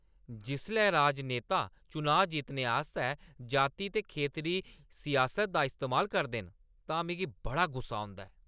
जिसलै राजनेता चनाऽ जित्तने आस्तै जाति ते खेतरी सियासत दा इस्तेमाल करदे न तां मिगी बड़ा गुस्सा औंदा ऐ।